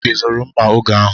Ị zụrụ mma oge ahụ?